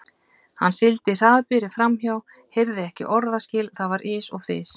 Hann sigldi hraðbyri framhjá, heyrði ekki orðaskil, það var ys og þys.